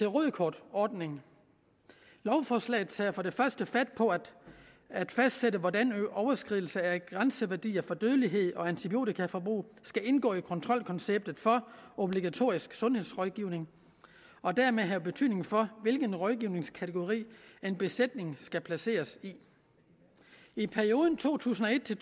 rødt kort ordning lovforslaget tager for det første fat på at fastsætte hvordan overskridelse af grænseværdier for dødelighed og antibiotikaforbrug skal indgå i kontrolkonceptet for obligatorisk sundhedsrådgivning og dermed have betydning for hvilken rådgivningskategori en besætning skal placeres i i perioden to tusind og et til